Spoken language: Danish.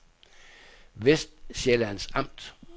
Vestsjællands Amt